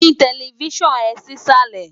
Yí tẹlifísàn ẹ sísàlẹ̀